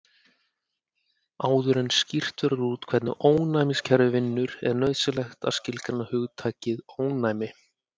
Áður en skýrt verður út hvernig ónæmiskerfið vinnur er nauðsynlegt að skilgreina hugtakið ónæmi.